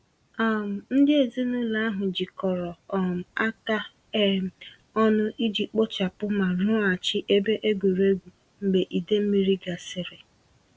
um Ndị ezinụlọ ahụ jikọrọ um aka um ọnụ iji kpochapụ ma rụghachi ebe egwuregwu mgbe idei mmiri gasịrị.